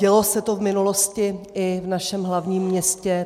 Dělo se to v minulosti i v našem hlavním městě.